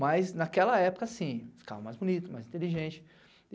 Mas naquela época assim, ficava mais bonito, mais inteligente.